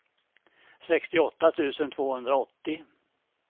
sextioåtta tusen tvåhundraåttio